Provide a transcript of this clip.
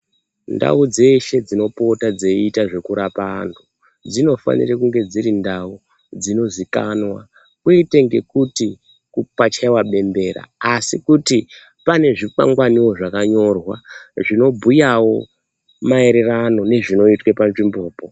Ndau dzeshe dzinopota dzeiita zvekurapa anthu, dzinofanire kunge dziri ndau dzinoziikanwa. Kwete ngekuti pachaiwa bembera, asi kuti pane zvikwangwaniwo zvakanyorwa zvinobhuyawo maererano nezvinoitwa panzvimbopo.